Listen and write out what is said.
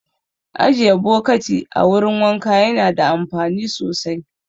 Ajiye bokati a wurin wanka yana da amfani sosai